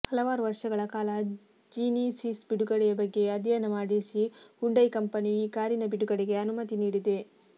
ಹಲವಾರು ವರ್ಷಗಳ ಕಾಲ ಜಿನಿಸಿಸ್ ಬಿಡುಗಡೆಯ ಬಗೆಗೆ ಅಧ್ಯಯನ ನಡೆಸಿ ಹ್ಯುಂಡೈ ಕಂಪನಿಯು ಈ ಕಾರಿನ ಬಿಡುಗಡೆಗೆ ಅನುಮತಿ ನೀಡಿದೆ